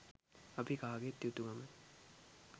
අපි කාගේත් යුතු කමයි.